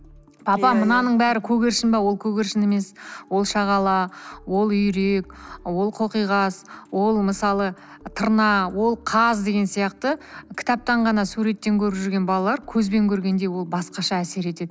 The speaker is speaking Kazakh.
папа мынаның бәрі көгершін бе ол көгершін емес ол шағала ол үйрек ол қоқиғаз ол мысалы тырна ол қаз деген сияқты кітаптан ғана суреттен көріп жүрген балалар көзбен көргенде ол басқаша әсер етеді